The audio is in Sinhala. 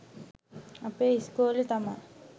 අපේ ඉස්කෝලේ තමා